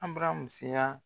ABARAMU seya.